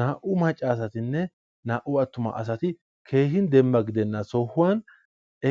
Naa"u macca asatinne naa"u attuma asati keehin dembba gidenna sohuwan